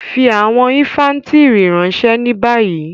Fi àwọn infàntiri ranṣẹ ni bayi!